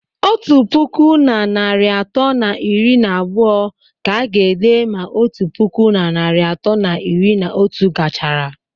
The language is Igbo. Otu puku na narị atọ na iri na abụọ ka a ga-ede ma otu puku na narị atọ na iri na otu gachara